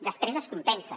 després es compensa